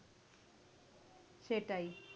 সেটাই।